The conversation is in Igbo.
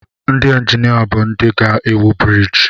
Ndị injinia bụ ndị ga-ewu briiji.